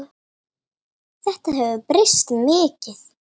Þetta hefur breyst mikið.